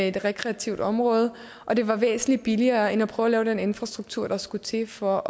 et rekreativt område og det var væsentlig billigere end at prøve at lave den infrastruktur der skulle til for